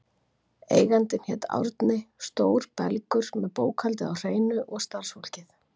Eigandinn hét Árni, stór belgur með bókhaldið á hreinu og starfsfólkið.